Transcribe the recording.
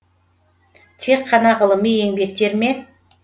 тек қана ғылыми еңбектер ме